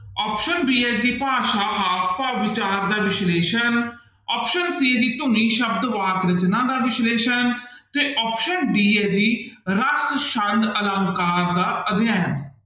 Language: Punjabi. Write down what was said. Option b ਹੈ ਜੀ ਭਾਸ਼ਾ ਹਾਵ ਭਾਵ ਵਿਚਾਰ ਦਾ ਵਿਸ਼ਲੇਸ਼ਣ option c ਹੈ ਜੀ ਧੁਨੀ ਸ਼ਬਦ ਵਾਕ ਰਚਨਾ ਦਾ ਵਿਸ਼ਲੇਸ਼ਣ ਤੇ option d ਹੈ ਜੀ ਰਕ ਸ਼ੰਦ ਅਲੰਕਾਰ ਦਾ ਅਧਿਐਨ।